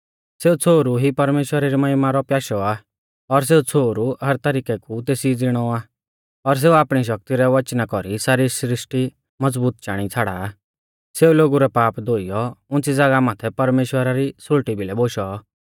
सेऊ छ़ोहरु ई परमेश्‍वरा री महिमा रौ प्याशौ आ और सेऊ छ़ोहरु हर तरिकै कु तेसी ज़िणौ आ और सेऊ आपणी शक्ति रै वचना कौरी सारी सृष्टी मज़बूत चाणी छ़ाड़ा आ सेऊ लोगु रै पाप धोइयौ उंच़ी ज़ागाह माथै परमेश्‍वरा री सुल़टी भिलै बोशौ